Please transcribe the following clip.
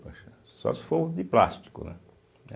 Poxa, só se for o de plástico, né eh.